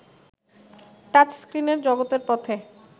টাচস্ত্রিনের জগতের পথে